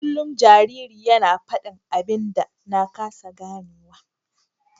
Kullum jaririn yana fadin abin da na kasa ganewa.